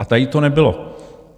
A tady to nebylo.